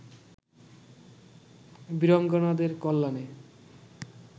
বীরাঙ্গনাদের কল্যাণে